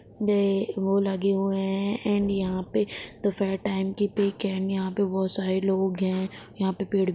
ये वो लगे हुए हैं ऐंड यहाँ पे दोपहर टाइम की पिक है ऐंड यहाँ पे बहुत सारे लोग हैं यहाँ पे पेड़ भी --